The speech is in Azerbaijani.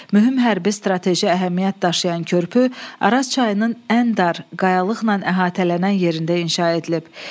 Mühüm hərbi strateji əhəmiyyət daşıyan körpü Araz çayının ən dar, qayalıqla əhatələnən yerində inşa edilib.